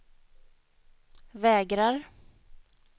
vägrar